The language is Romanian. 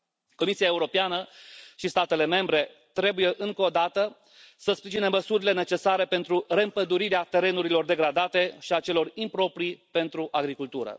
Comisia Europeană și statele membre trebuie încă o dată să sprijine măsurile necesare pentru reîmpădurirea terenurilor degradate și a celor improprii pentru agricultură.